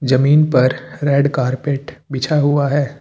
जमीन पर red carpet बिछा हुआ है।